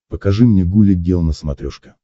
покажи мне гуля гел на смотрешке